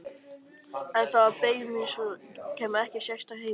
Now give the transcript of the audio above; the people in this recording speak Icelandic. En það beið mín svo sem ekkert sérstakt heima.